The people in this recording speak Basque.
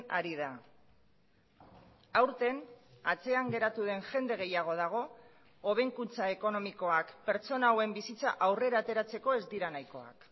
ari da aurten atzean geratu den jende gehiago dago hobekuntza ekonomikoak pertsona hauen bizitza aurrera ateratzeko ez dira nahikoak